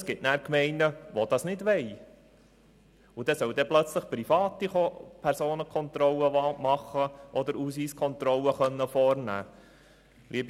Dann gibt es Gemeinden, die das nicht wollen und dort sollen plötzlich Private Personen- und Ausweiskontrollen machen?